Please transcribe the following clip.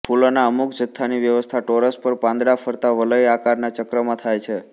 ફૂલોના અમુક જથ્થાની વ્યવસ્થા ટોરસ પર પાંદડા ફરતા વલય આકારના ચક્રમાં થાય છે